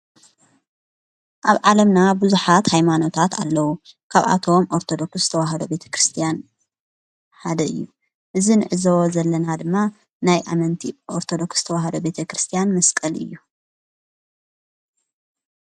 ኣብ ዓለምና ብዙኃት ኃይማኖታት ኣለዉ ካብኣቶዎም ኣርተዶክስ ተዉሃዶ ቤተ ክርስቲያን ሃደ እዩ እዝንዕዝዎ ዘለና ድማ ናይ ኣመንቲ ኦርተዶክስ ተዉሃዶ ቤተ ክርስቲያን መስቀል እዩ።